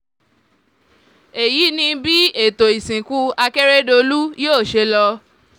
èyí ni bí ètò ìsìnkú akérèdọ́lù yóò ṣe lọ